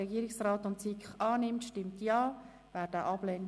Regierungsrat/SiK zu Artikel 83 Absatz 1 Buchstabe d ab.